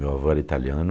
Meu avô era italiano.